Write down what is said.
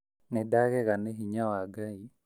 Nĩ ndagega nĩ hinya wa Ngai